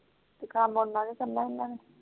ਕਾਮ ਓਹਨਾ ਕੇ ਕਰਨਾ ਜਿਨ੍ਹਾਂ ਕੋ